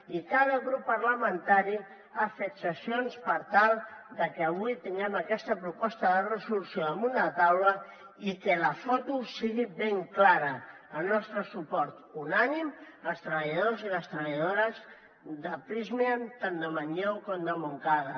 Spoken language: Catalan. i cada grup parlamentari ha fet cessions per tal de que avui tinguem aquesta proposta de resolució damunt de la taula i que la foto sigui ben clara el nostre suport unànime als treballadors i les treballadores de prysmian tant de manlleu com de montcada